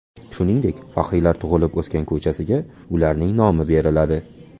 Shuningdek, faxriylar tug‘ilib-o‘sgan ko‘chasiga ularning nomi beriladi .